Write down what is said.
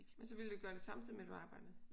Men så ville du gøre det samtidig med du arbejdede?